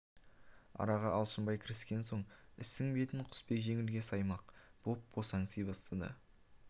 араға алшынбай кіріскен соң істің бетін құсбек жеңілге саймақ боп босаңси бастады